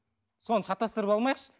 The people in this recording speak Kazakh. соны шатастырып алмайықшы